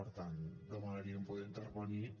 per tant demanaríem poder intervenir